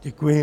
Děkuji.